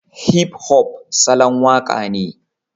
Hip-hop salon waka ne